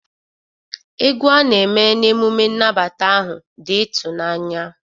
egwu a na-eme na emume nnabata ahụ dị ịtụnanya